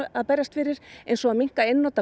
að berjast fyrir eins og að minnka einnota